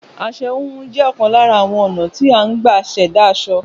Aṣọ híhun jẹ́ ọ̀kan lára àwọn ọ̀nà tí a ń gbà ṣẹ̀dá aṣọ